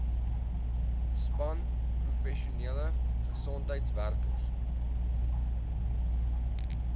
span professionele gesondheidswerkers